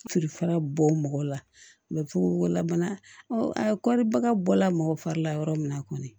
Filifara bɔ mɔgɔ la fogofogo la bana kɔribaga bɔla mɔgɔ fari la yɔrɔ min na kɔni